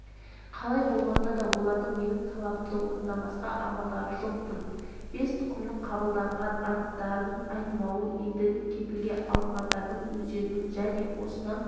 қалай болғанда да олардың менің талабымды орындамасқа амалдары жоқ-тын бес тұтқынның қабылдаған анттарынан айнымауы енді кепілге алынғандардың өздерінің және осыны